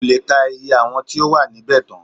Kò lè ka iye àwọn tí ó wà níbẹ̀ tán